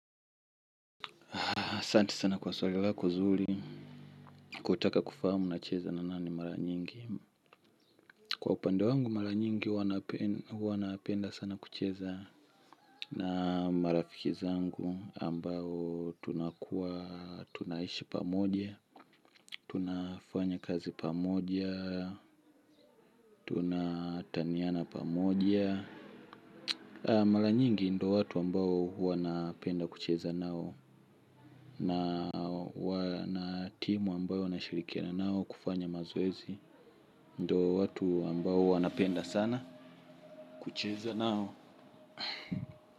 Asanti sana kwa swali lako zuri, kutaka kufahamu nacheza na nani mara nyingi. Kwa upande wangu mara nyingi huwa napenda sana kucheza na marafiki zangu ambao tunakuwa, tunaishi pamoja, tunafanya kazi pamoja, tuna taniana pamoja. Mara nyingi ndo watu ambao huwa napenda kucheza nao. Na timu ambayo nashirikina nao kufanya mazoezi ndo watu ambao huwa napenda sana kucheza nao.